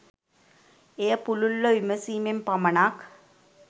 එය පුළුල්ව විමසීමෙන් පමණක්